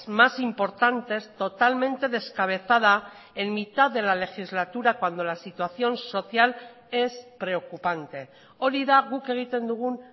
más importantes totalmente descabezada en mitad de la legislatura cuando la situación social es preocupante hori da guk egiten dugun